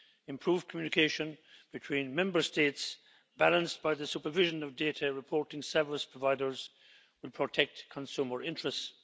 Improved communication between Member States, balanced by the supervision of data reporting service providers, will protect consumer interests.